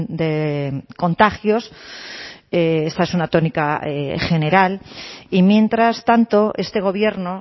de contagios esta es una tónica general y mientras tanto este gobierno